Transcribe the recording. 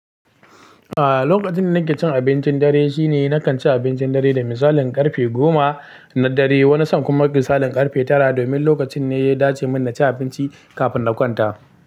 Ah, lokacin da nake cin abincin dare shine na kan ci abincin dare da misalin ƙarfe goma na dare, wani san kuma misalin ƙarfe tara domin lokacin ne ya dace min na ci abinci kafin na kwanta.